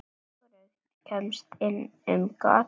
Hvorugt kemst inn um gatið.